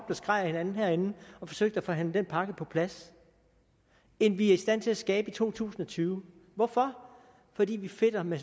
og skreg ad hinanden herinde og forsøgte at forhandle den pakke på plads end vi er i stand til at skabe i to tusind og tyve hvorfor fordi vi fedter med